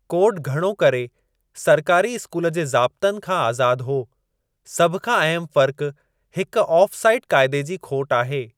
Code घणो करे सरकारी इस्कूल जे ज़ाब्तनि खां आज़ादु हो। सभ खां अहमु फ़र्क़ हिकु ऑफ़ साइड क़ाइदे जी खोट आहे।